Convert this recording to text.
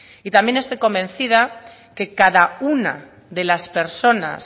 y también estoy convencida que cada una de las personas